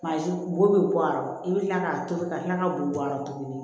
Bazɛn bo bɛ bɔ a rɔ i bɛ kila k'a tobi ka kila ka bugu bɔ a la tuguni